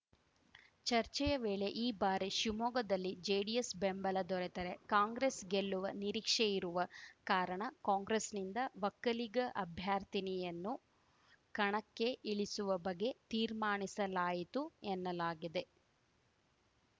ಚರ್ಚೆಯ ವೇಳೆ ಈ ಬಾರಿ ಶಿವಮೊಗ್ಗದಲ್ಲಿ ಜೆಡಿಎಸ್‌ ಬೆಂಬಲ ದೊರೆತರೆ ಕಾಂಗ್ರೆಸ್‌ ಗೆಲ್ಲುವ ನಿರೀಕ್ಷೆಯಿರುವ ಕಾರಣ ಕಾಂಗ್ರೆಸ್‌ನಿಂದ ಒಕ್ಕಲಿಗ ಅಭ್ಯರ್ಥಿನಿಯನ್ನು ಕಣಕ್ಕೆ ಇಳಿಸುವ ಬಗ್ಗೆ ತೀರ್ಮಾನಿಸಲಾಯಿತು ಎನ್ನಲಾಗಿದೆ